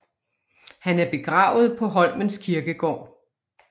Han er begravet på Holmens Kirkegård